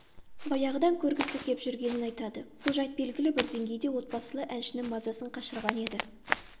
баяғыдан көргісі кеп жүргенін айтады бұл жайт белгілі бір деңгейде отбасылы әншінің мазасын қашырған еді